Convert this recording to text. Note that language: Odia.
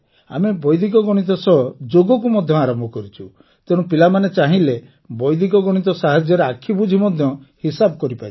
ଆମେ ବୈଦିକ ଗଣିତ ସହ ଯୋଗକୁ ମଧ୍ୟ ଆରମ୍ଭ କରିଛୁ ତେଣୁ ପିଲାମାନେ ଚାହିଁଲେ ବୈଦିକ ଗଣିତ ସାହାଯ୍ୟରେ ଆଖି ବୁଜି ମଧ୍ୟ ହିସାବ କରିପାରିବେ